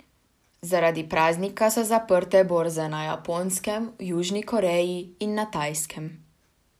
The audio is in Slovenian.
Zaradi praznika so zaprte borze na Japonskem, v Južni Koreji in na Tajskem.